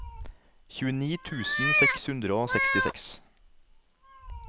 tjueni tusen seks hundre og sekstiseks